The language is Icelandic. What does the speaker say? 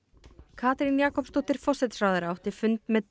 Katrín Jakobsdóttir forsætisráðherra átti fund með